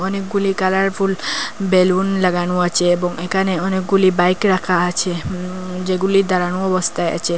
অনেকগুলি colourful balloon লাগানো আছে এবং এখানে অনেকগুলি বাইক রাখা আছে উম যেগুলি দাঁড়ানো অবস্থায় আছে।